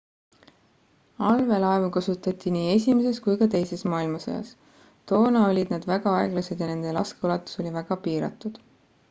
allveelaevu kasutati nii esimeses kui ka teises maailmasõjas toona olid nad väga aeglased ja nende laskeulatus oli väga piiratud